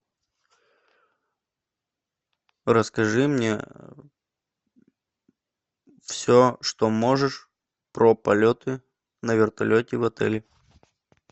расскажи мне все что можешь про полеты на вертолете в отеле